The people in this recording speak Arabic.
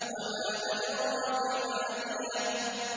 وَمَا أَدْرَاكَ مَا هِيَهْ